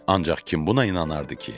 Ancaq kim buna inanardı ki?